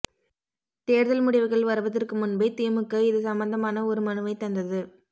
தேர்தல் முடிவுகள் வருவதற்கு முன்பே திமுக இது சம்பந்தமான ஒரு மனுவை தந்தது